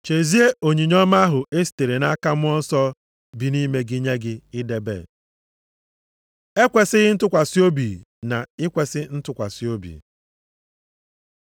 Chezie onyinye ọma ahụ e sitere nʼaka Mmụọ Nsọ bi nʼime gị nye gị idebe. Ekwesighị ntụkwasị obi na ikwesi ntụkwasị obi